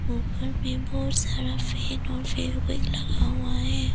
ऊपर में बहुत सारा पेन और फेवीक्विक लगा हुआ है।